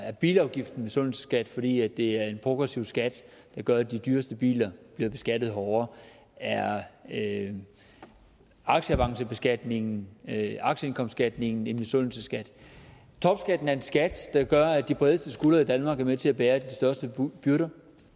er bilafgifterne en misundelsesskat fordi det er en progressiv skat der gør at de dyreste biler bliver beskattet hårdere er aktieavancebeskatningen aktieindkomstskatten en misundelsesskat topskatten er en skat der gør at de bredeste skuldre i danmark er med til at bære de største byrder